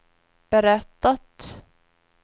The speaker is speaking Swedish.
berättat